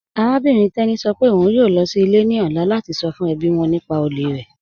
Arábìnrin Teni sọ́ pẹ̀ ọ̀un ń yoo lọ sí ilẹ̀ ni ọ̀lá lati sọ́ fún ẹbí wọn nípà òlè rẹ.